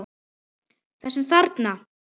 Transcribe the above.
Þessum þarna!